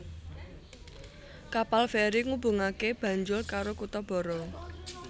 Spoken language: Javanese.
Kapal feri ngubungaké Banjul karo kutha Barra